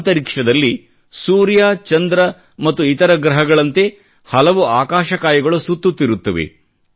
ಅಂತರಿಕ್ಷದಲ್ಲಿ ಸೂರ್ಯ ಚಂದ್ರ ಮತ್ತು ಇತರ ಗ್ರಹಗಳಂತೆ ಹಲವು ಆಕಾಶಕಾಯಗಳು ಸುತ್ತುತ್ತಿರುತ್ತವೆ